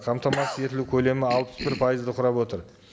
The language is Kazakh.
қамтамасыз етілу көлемі алпыс бір пайызды құрап отыр